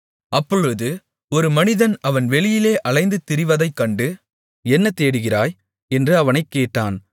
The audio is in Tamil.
அப்பொழுது ஒரு மனிதன் அவன் வெளியிலே அலைந்து திரிவதைக் கண்டு என்ன தேடுகிறாய் என்று அவனைக் கேட்டான்